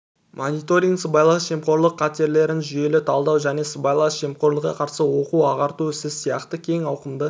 мониторинг сыбайлас жемқорлық қатерлерін жүйелі талдау және сыбайлас жемқорлыққа қарсы оқу-ағарту ісі сияқты кең ауқымды